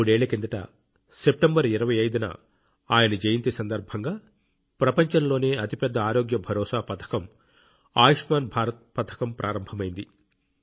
మూడేళ్ల కిందట సెప్టెంబర్ 25 న ఆయన జయంతి సందర్భంగా ప్రపంచంలోనే అతిపెద్ద ఆరోగ్య భరోసా పథకం ఆయుష్మాన్ భారత్ పథకం ప్రారంభమైంది